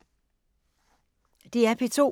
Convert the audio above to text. DR P2